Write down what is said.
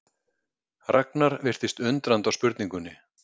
Ragnar virtist undrandi á spurningunni.